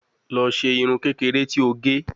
Lọ ṣe irun kekere ti o ge